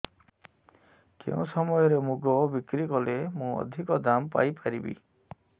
କେଉଁ ସମୟରେ ମୁଗ ବିକ୍ରି କଲେ ମୁଁ ଅଧିକ ଦାମ୍ ପାଇ ପାରିବି